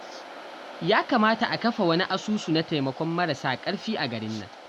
Ya kamata a kafa wani asusu na taimakon marasa ƙarfi a garin nan